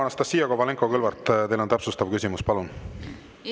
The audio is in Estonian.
Anastassia Kovalenko-Kõlvart, teil on täpsustav küsimus, palun!